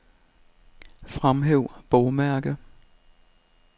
Fremhæv bogmærke.